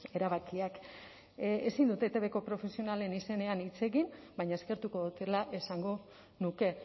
erabakiak ezin dute etbko profesionalen izenean hitz egin baina eskertuko dutela esango nuke